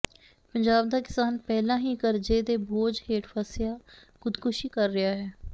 ਪੰਜਾਬ ਦਾ ਕਿਸਾਨ ਪਹਿਲਾਂ ਹੀ ਕਰਜ਼ੇ ਦੇ ਬੋਝ ਹੇਠ ਫਸਿਆ ਖ਼ੁਦਕੁਸ਼ੀ ਕਰ ਰਿਹਾ ਹੈ